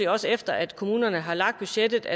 også efter at kommunerne har lagt budgetter